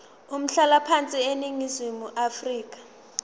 umhlalaphansi eningizimu afrika